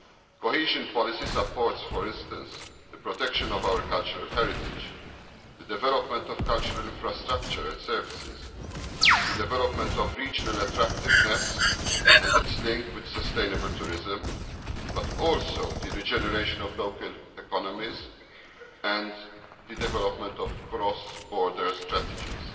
Cohesion policy supports, for instance, the protection of our cultural heritage, the development of cultural infrastructure and services, the development of regional attractiveness and its link with sustainable tourism, but also the regeneration of local economies and the development of cross border strategies.